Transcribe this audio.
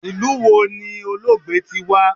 Ilu wo ni Olóògbé ti wa?